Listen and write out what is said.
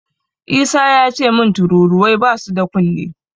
Isa yace min tururuwai basu da kunne.